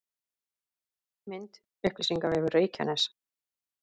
Mynd: Upplýsingavefur Reykjaness